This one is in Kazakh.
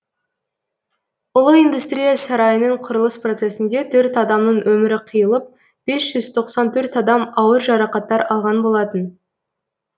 ұлы индустрия сарайының құрылыс процесінде төрт адамның өмірі қиылып бес жүз тоқсан төрт адам ауыр жарақаттар алған болатын